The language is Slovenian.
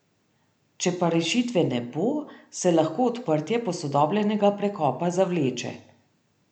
Če pa rešitve ne bo, se lahko odprtje posodobljenega prekopa zavleče.